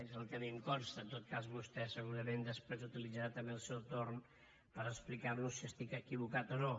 és el que a mi em consta en tot cas vostè segurament després utilitzarà també el seu torn per explicar nos si estic equivocat o no